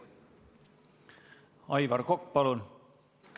Aivar Kokk, palun!